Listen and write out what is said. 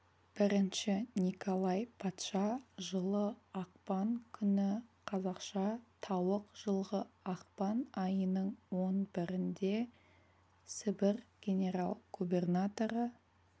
бірінші николай патша жылы ақпан күні қазақша тауық жылғы ақпан айының он бірінде сібір генерал-губернаторы